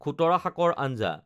খুতৰা শাকৰ আঞ্জা